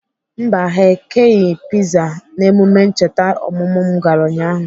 Mba, ha ekeghị piza n'emume ncheta ọmụmụ m gara ụnyaahụ